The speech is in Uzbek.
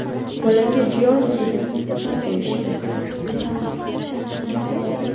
Bolaga Georgiy deb ism qo‘yishdi.